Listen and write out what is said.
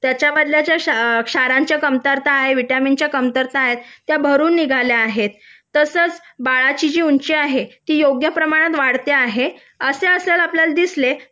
त्याच्या ज्या क्षाराच्या कमतरता विटामिनच्या कमतरता आहेत त्या भरून निघाल्या आहेत तसंच बाळाची जी उंची आहे ती योग्य प्रमाणात वाढते आहे ते जर आपल्याला दिसले